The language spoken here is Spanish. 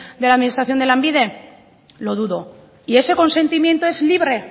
de la administración de lanbide lo dudo y ese consentimiento es libre